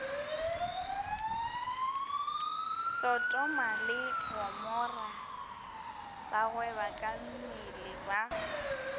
sotoma le gomora bagwebakammele ba